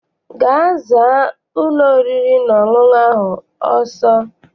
Gaa zaa ụlọ oriri na ọṅụṅụ ahụ ọsọ!